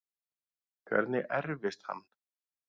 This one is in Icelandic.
Hvernig erfist hann?